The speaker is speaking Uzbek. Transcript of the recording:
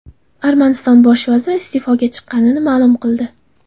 Armaniston bosh vaziri iste’foga chiqishini ma’lum qildi.